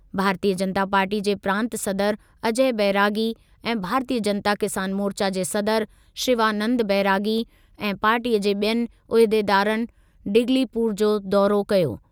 भारतीय जनता पार्टीअ जे प्रांत सदर अजय बैरागी ऐं भारतीय जनता किसान मोर्चा जे सदर शिवानन्द बैरागी ऐं पार्टीअ जे ॿियनि उहिदेदारनि डिगलीपुर जो दौरो कयो।